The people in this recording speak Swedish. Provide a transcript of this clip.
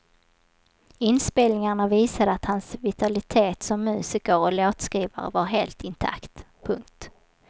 Inspelningarna visade att hans vitalitet som musiker och låtskrivare var helt intakt. punkt